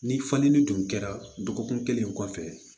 Ni fali ni dun kɛra dɔgɔkun kelen kɔfɛ